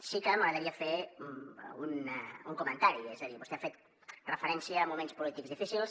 sí que m’agradaria fer algun comentari és a dir vostè ha fet referència a moments polítics difícils